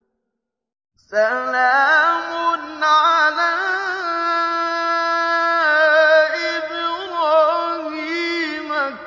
سَلَامٌ عَلَىٰ إِبْرَاهِيمَ